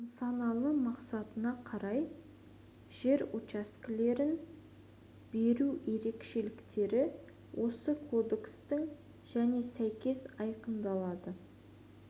нысаналы мақсатына қарай жер учаскелерін беру ерекшеліктері осы кодекстің және сәйкес айқындалады